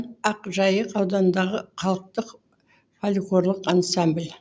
ақжайық ауданындағы халықтық фольклорлық ансамбль